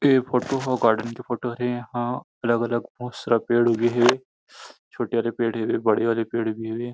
ऐ फोटो ह गार्डन के फोटो हरे यहाँ अलग अलग बहुत सारा पेड़ उगे हेछोटे वाले पेड़ हे बड़े वाले पेड़ भी हे।